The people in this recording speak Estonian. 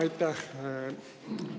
Aitäh!